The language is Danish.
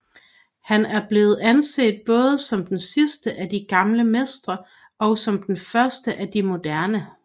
Han er blevet anset både som den sidste af de gamle mestre og som den første af de moderne